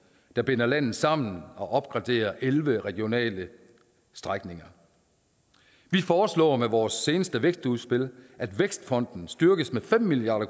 der binder landet sammen og opgraderer elleve regionale strækninger vi foreslår med vores seneste vækstudspil at vækstfonden styrkes med fem milliard